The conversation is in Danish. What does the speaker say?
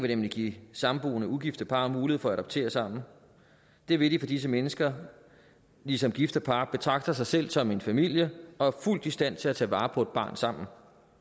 nemlig give samboende ugifte par mulighed for at adoptere sammen det vil de fordi disse mennesker ligesom gifte par betragter sig selv som en familie og er fuldt i stand til at tage vare på et barn sammen